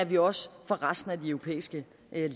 vi også får resten af de europæiske